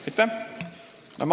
Aitäh!